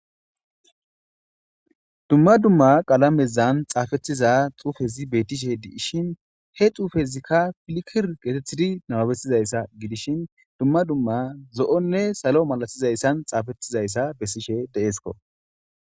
dumma dumma qalamezan xaafethiza xuufezi betishe di7ishin he xuufezikka filkir geetethidi namabetizayssa gidishin dumma dumma zo7onne salo malatizayssan xaafettizayssa bessishe deesko